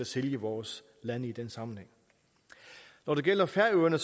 sælge vores lande i den sammenhæng når det gælder færøerne